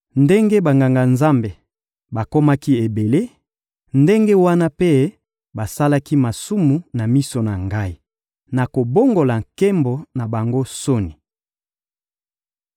Ndenge Banganga-Nzambe bakomaki ebele, ndenge wana mpe basalaki masumu na miso na Ngai. Nakobongola nkembo na bango soni.